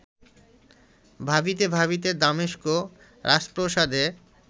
ভাবিতে ভাবিতে দামেস্ক রাজপ্রাসাদে